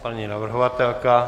Paní navrhovatelka?